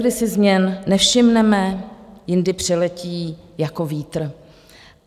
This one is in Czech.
Leckdy si změn nevšimneme, jindy přiletí jako vítr.